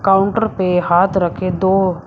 counter पे हाथ रखे दो--